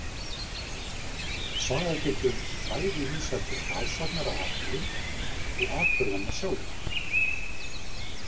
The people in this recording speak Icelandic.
Saga getur bæði vísað til frásagnar af atburðum og atburðanna sjálfra.